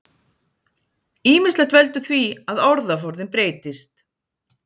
Ýmislegt veldur því að orðaforðinn breytist.